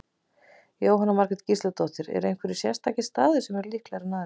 Jóhanna Margrét Gísladóttir: Eru einhverjir sérstakir staðir sem eru líklegri aðrir, eða?